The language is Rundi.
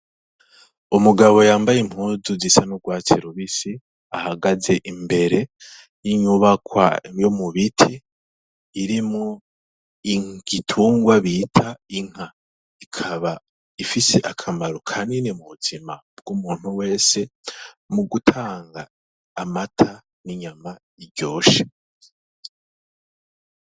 Umugabo yambaye impuzu zisa n'ugwatsi rubisi ahagaze imbere y'inyubakwa yo mu biti irimwo igitungwa bita inka, ikaba ifise akamaro kanini mu buzima bw'umuntu wese mu gutanga amata n'inyama iryoshe.